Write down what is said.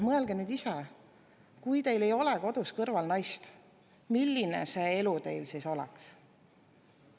Mõelge nüüd ise, kui teil ei oleks kodus kõrval naist, milline see elu teil siis oleks!